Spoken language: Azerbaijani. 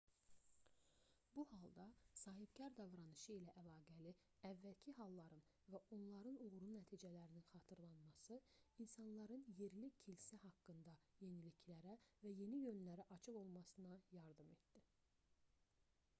bu halda sahibkar davranışı ilə əlaqəli əvvəlki halların və onların uğurlu nəticələrinin xatırlanması insanların yerli kilsə haqqında yeniliklərə və yeni yönlərə açıq olmasına yardım etdi